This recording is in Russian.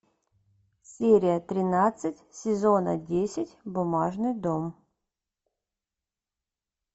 серия тринадцать сезона десять бумажный дом